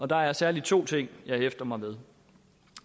der er særlig to ting jeg hæfter mig ved